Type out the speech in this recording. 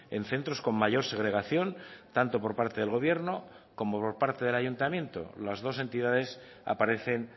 en centros con mayor segregación tanto por parte del gobierno como por parte del ayuntamiento las dos entidades aparecen